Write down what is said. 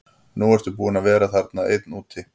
Nú ertu búinn að vera þarna einn úti.